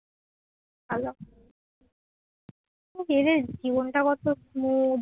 এদের জীবনটা কত smooth